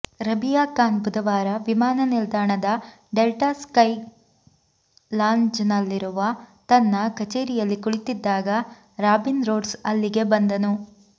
ರಬೀಯಾ ಖಾನ್ ಬುಧವಾರ ವಿಮಾನ ನಿಲ್ದಾಣದ ಡೆಲ್ಟಾ ಸ್ಕೈ ಲಾಂಜ್ನಲ್ಲಿರುವ ತನ್ನ ಕಚೇರಿಯಲ್ಲಿ ಕುಳಿತಿದ್ದಾಗ ರಾಬಿನ್ ರೋಡ್ಸ್ ಅಲ್ಲಿಗೆ ಬಂದನು